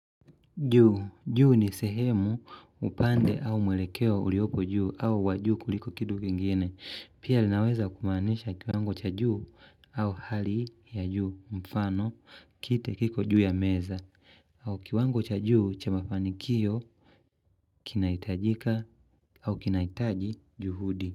Juu ni sehemu upande au mwelekeo uliopo juu au wajuu kuliko kitu kingine. Pia linaweza kumaanisha kiwango cha juu au hali ya juu mfano kite kiko juu ya meza. Au kiwango cha juu cha mafanikio kinaitajika au kinaitaji juhudi.